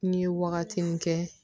N ye wagati min kɛ